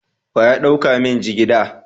Wa ya dauka min jigiɗa?